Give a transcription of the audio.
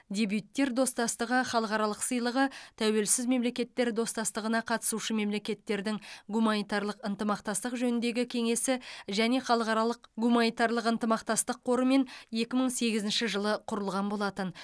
дебюттер достастығы халықаралық сыйлығы тәуелсіз мемлекеттер достастығына қатысушы мемлекеттердің гуманитарлық ынтымақтастық жөніндегі кеңесі және халықаралық гуманитарлық ынтымақтастық қорымен екі мың сегізінші жылы құрылған болатын